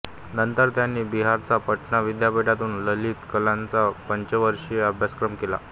नंतर त्यांनी बिहारच्या पाटणा विद्यापीठातून ललित कलांचा पंचवार्षिक अभ्यासक्रम केला